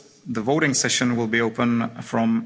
The voting session will be open from